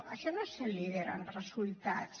això no és ser líder en resultats